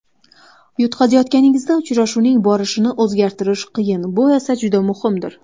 Yutqazayotganingizda uchrashuvning borishini o‘zgartirish qiyin, bu esa juda muhimdir.